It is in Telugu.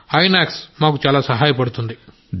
ఇనాక్స్ మాకు చాలా సహాయపడుతుంది